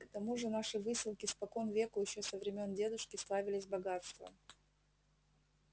к тому же наши выселки спокон веку ещё со времён дедушки славились богатством